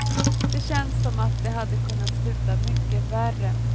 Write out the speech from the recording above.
Det känns som att det hade kunnat sluta mycket värre.